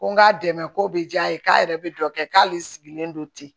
Ko n k'a dɛmɛ ko bɛ diya n ye k'a yɛrɛ bɛ dɔ kɛ k'ale sigilen don ten